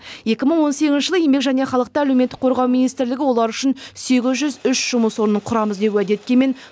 екі мың он сегізінші жылы еңбек және халықты әлеуметтік қорғау министрлігі олар үшін сегіз жүз үш жұмыс орнын құрамыз деп уәде еткенмен